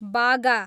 बागा